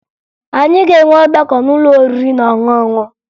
Anyị ga-enwe ọgbakọ n'ụlọ oriri na ọṅụṅụ